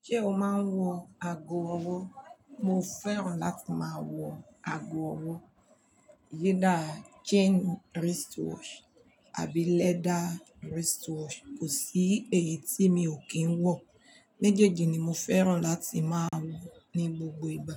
Ǹjẹ́ o máa ń wọ ago ọwọ́? Mo fẹ́ràn láti máa wọ ago ọwọ́. Yé dá chain wristwatch àbí leather wristwatch, kò sí èyí tí mi ò kí ń wọ̀. Méjèèjì ni mo fẹ́ràn láti máa wọ̀ ní gbogbo ìgbà.